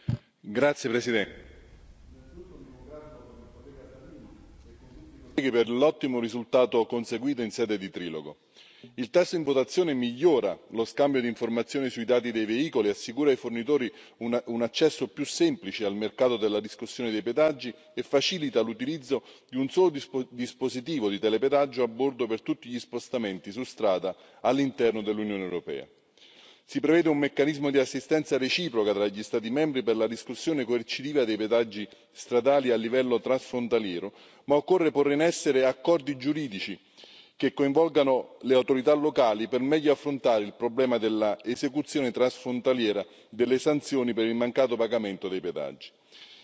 Signor Presidente, onorevoli colleghi, innanzitutto mi congratulo con il collega Salini e con tutti i colleghi per l'ottimo risultato conseguito in sede di trilogo. Il testo in votazione migliora lo scambio di informazioni sui dati dei veicoli, assicura ai fornitori un accesso più semplice al mercato della riscossione dei pedaggi e facilita l'utilizzo di un solo dispositivo di telepedaggio a bordo per tutti gli spostamenti su strada all'interno dell'Unione europea. Si prevede un meccanismo di assistenza reciproca tra gli Stati membri per la riscossione coercitiva dei pedaggi stradali a livello transfrontaliero, ma occorre porre in essere accordi giuridici che coinvolgano le autorità locali per meglio affrontare il problema dell'esecuzione transfrontaliera delle sanzioni per il mancato pagamento dei pedaggi.